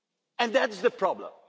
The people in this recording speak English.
it. And that is the problem.